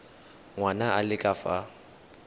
ngwana a le ka fa